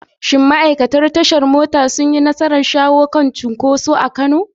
Shin ma’aikatan tashar mota sun yi nasarar shawo kan cunkoso a Kano?